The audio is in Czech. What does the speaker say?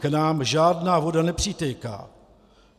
K nám žádná voda nepřitéká.